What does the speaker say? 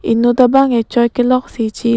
inut abang k choi kelok si chi i lok.